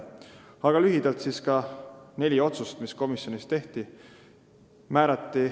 Nimetan lühidalt ka neli otsust, mis komisjonis tehti.